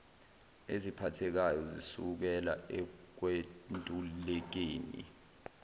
eziphathekayo zisukela ekwentulekeni